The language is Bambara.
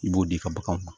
I b'o di i ka baganw ma